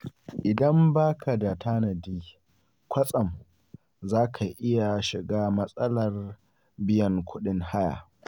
Idan ba ka da tanadi, kwatsam za ka iya shiga matsalar biyan kuɗin haya.